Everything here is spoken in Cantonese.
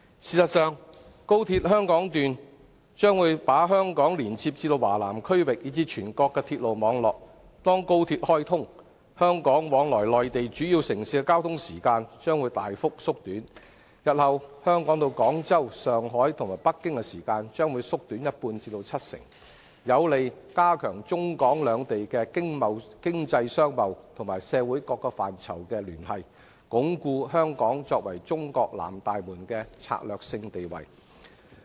事實上，在開通後，高鐵香港段將把香港連接至華南區域，以至全國鐵路網絡，屆時香港往來內地主要城市的交通時間，將會大幅縮短，日後由香港到廣州、上海和北京的時間，將會縮短一半至七成，有利加強中港兩地經濟商貿及社會各個範疇的聯繫，鞏固香港作為中國南大門的策略性地位。